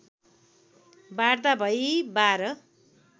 वार्ता भई १२